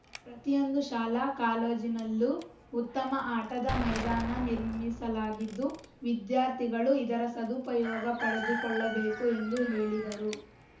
ಪ್ರತಿಯೊಂದು ಶಾಲಾ ಕಾಲೇಜನಲ್ಲೂ ಉತ್ತಮವಾದ ಆಟದ ಮೈದಾನ ನಿರ್ಮಿಸಲಾಗಿದ್ದು ವಿದ್ಯಾರ್ಥಿಗಳು ಇದರ ಸದುಪಯೋಗ ಪಡೆದುಕೊಳ್ಳಬೇಕು ಎಂದು ಹೇಳಿದರು